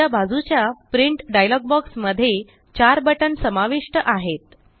उजव्या बाजूच्या print dialog box मध्ये चार बटन समाविष्ट आहेत